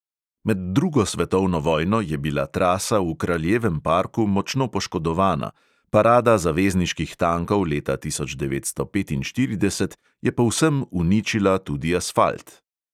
Med drugo svetovno vojno je bila trasa v kraljevem parku močno poškodovana, parada zavezniških tankov leta tisoč devetsto petinštirideset je povsem uničila tudi asfalt.